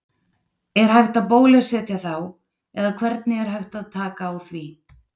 Er hægt að bólusetja þá eða hvernig er hægt áð taka á því?